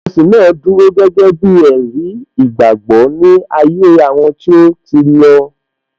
Ilé ìjọsìn náà dúró gẹ́gẹ́ bí ẹ̀rí ìgbàgbọ́ ní ayé àwọn tí ó ti lọ